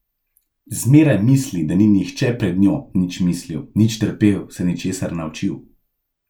Zmeraj misli, da ni nihče pred njo nič mislil, nič trpel, se ničesar naučil.